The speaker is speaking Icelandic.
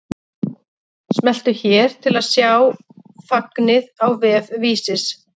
Smelltu hér til að sjá fagnið á vef Vísis